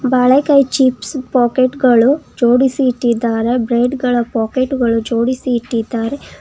ಬಾಳೆಕಾಯಿ chips packet ಗಳು ಜೋಡಿಸಿ ಇಟ್ಟಿದ್ದಾರೆ ಬ್ರೆಡ್ ಗಳ ಪಾಕೆಟ್ ಗಳು ಜೋಡಿಸಿ ಇಟ್ಟಿದ್ದಾರೆ.